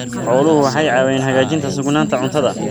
Xooluhu waxay caawiyaan hagaajinta sugnaanta cuntada.